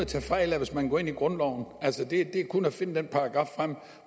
tage fejl af hvis man går ind i grundloven altså det er kun at finde den paragraf frem